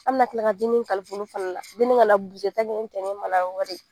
An bɛna tila ka dennin kalifa olu fana la dennin kana ni cɛ ma na n'an ka wari ye